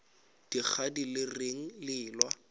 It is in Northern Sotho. dikgadi le reng le ewa